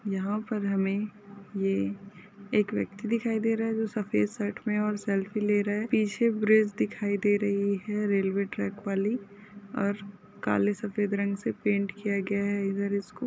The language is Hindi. यहाँ पर हमे ये एक व्यक्ति दिखाई दे रहे जो सफ़ेद शर्ट मे और सेल्फी ले रहे पीछे ब्रिज दिखाई दे रही है रेल्वे ट्रक वाली और काले सफ़ेद रंग से पेंट किया गया है इधर इसको।